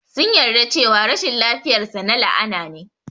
Sun yarda cewa rashin lafiyar sa na la'ana ne.